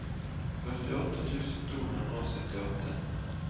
førtiåtte tusen to hundre og syttiåtte